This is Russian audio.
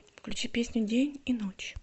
включи песню день и ночь